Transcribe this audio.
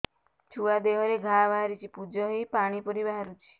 ଛୁଆ ଦେହରେ ଘା ବାହାରିଛି ପୁଜ ହେଇ ପାଣି ପରି ବାହାରୁଚି